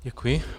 Děkuji.